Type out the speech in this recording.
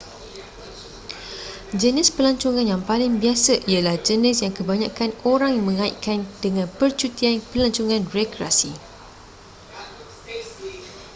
jenis pelancongan yang paling biasa ialah jenis yang kebanyakan orang mengaitkan dengan percutian pelancongan rekreasi